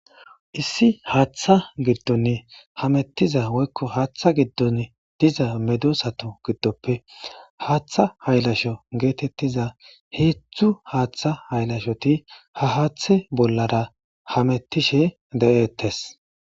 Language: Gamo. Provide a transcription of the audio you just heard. Issi haaththa giddonn hamettiza woykko haaththa giddon diza medosato giddoppe haaththa haylasho geetettiza heedzdzu haaththa haylashoti ha haathe bollara hamettishe de7eettes.